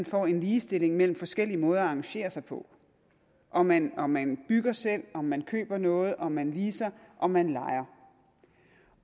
får en ligestilling mellem forskellige måder at arrangere sig på om man om man bygger selv om man køber noget om man leaser om man lejer